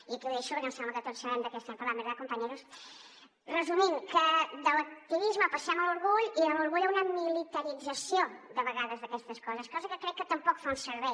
i aquí ho deixo perquè em sembla que tots sabem de què estem parlant verdad compañeros resumint que de l’activisme passem a l’orgull i de l’orgull a una militarització de vegades d’aquestes coses cosa que crec que tampoc fa un servei